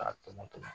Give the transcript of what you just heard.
K'a tɔmɔ tɔmɔ